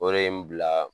O de ye n bila